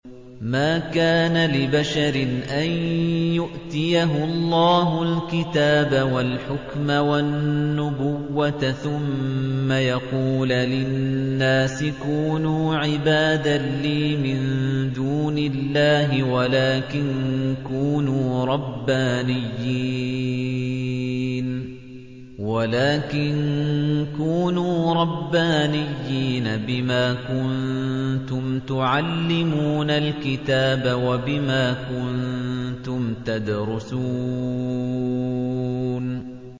مَا كَانَ لِبَشَرٍ أَن يُؤْتِيَهُ اللَّهُ الْكِتَابَ وَالْحُكْمَ وَالنُّبُوَّةَ ثُمَّ يَقُولَ لِلنَّاسِ كُونُوا عِبَادًا لِّي مِن دُونِ اللَّهِ وَلَٰكِن كُونُوا رَبَّانِيِّينَ بِمَا كُنتُمْ تُعَلِّمُونَ الْكِتَابَ وَبِمَا كُنتُمْ تَدْرُسُونَ